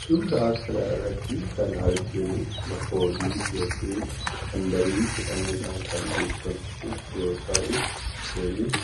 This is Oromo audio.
Suuraa kana irratti kan arginu, makoodii yookiin handarii jedhamuun kan beekamtu yoo ta'u, isheenis